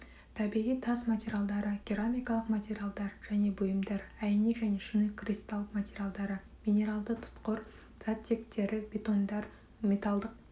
табиғи тас материалдары керамикалық материалдар және бұйымдар әйнек және шыныкристалл материалдары минералды тұтқыр заттектері бетондар металлдық